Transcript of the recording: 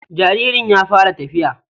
jaririn ya fara tafiya.